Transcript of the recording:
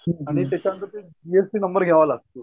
आणि त्यांच्या नंतर ते जि एस टी नॉम्बर घ्यावा लागतो.